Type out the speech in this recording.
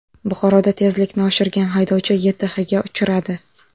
Buxoroda tezlikni oshirgan haydovchi YTHga uchradi.